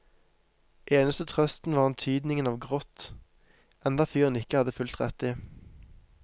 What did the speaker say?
Eneste trøsten var antydningen av grått, enda fyren ikke hadde fylt tretti.